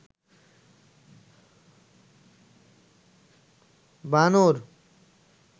বানর